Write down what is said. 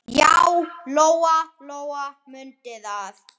Já, Lóa-Lóa mundi það.